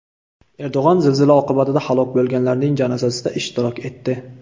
Erdo‘g‘on zilzila oqibatida halok bo‘lganlarning janozasida ishtirok etdi.